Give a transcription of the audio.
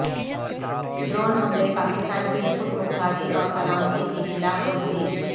drone حملے پاکستان کی خودمختاری اور سلامتی کی خلاف ورزی